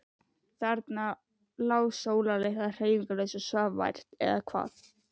Þarna lá Sóla litla hreyfingarlaus og svaf vært. eða hvað?